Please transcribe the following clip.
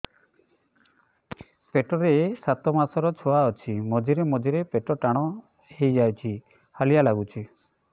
ପେଟ ରେ ସାତମାସର ଛୁଆ ଅଛି ମଝିରେ ମଝିରେ ପେଟ ଟାଣ ହେଇଯାଉଚି ହାଲିଆ ଲାଗୁଚି